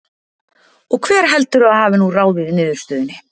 Og hver heldurðu að hafi nú ráðið niðurstöðunni?